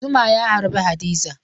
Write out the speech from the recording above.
Zuma ya harbe Hadiza.